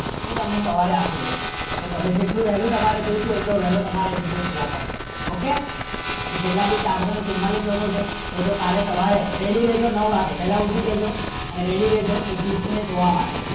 હું તમને સવારે આપીદે જો તમારે જેટલું value હોય તમારે એટલું value હોયે જે okay કેટલા ભી ચાર જન ચુમ્મા લખો છે એ તો કાલે સવારે ready રેહજો નાઉ વાગે અને ready રેહજો એક gift ની જોવા માટે